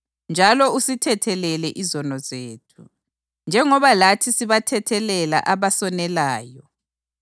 Njalo usithethelele izono zethu, njengoba lathi sibathethelela abasonelayo.